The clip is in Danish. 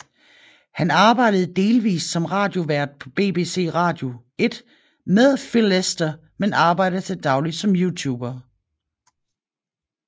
Han arbejdede delvist som radiovært på BBC Radio 1 med Phil Lester men arbejder til daglig som YouTuber